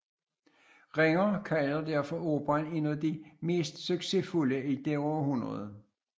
Ringer kalder derfor operaen en af de mest succesfulde i det århundrede